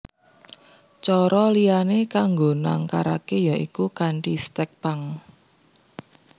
Cara liyané kanggo nangkaraké ya iku kanthi stèk pang